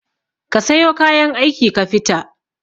Kasayo kayan aikin kafita